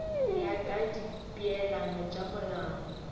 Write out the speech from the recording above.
ya ka dipeelano tša molao